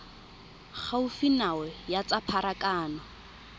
gaufi nao ya tsa pharakano